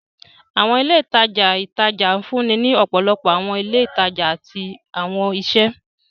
Awọn ile itaja itaja nfunni ni ọpọlọpọ awọn ile itaja ati awọn iṣẹ.